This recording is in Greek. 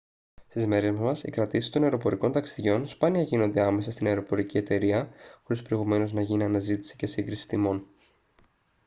στις μέρες μας οι κρατήσεις των αεροπορικών ταξιδιών σπάνια γίνονται άμεσα στην αεροπορική εταιρεία χωρίς προηγουμένως να γίνει αναζήτηση και σύγκριση τιμών